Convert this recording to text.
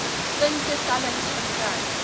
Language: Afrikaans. punte tellings verkry